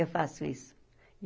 Eu faço isso.